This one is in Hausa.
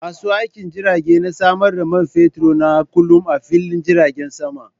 Masu aikin jirage na samar da man fetur na kullum a fillin jiragen sama.